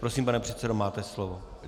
Prosím, pane předsedo, máte slovo.